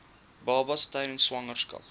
babas tydens swangerskap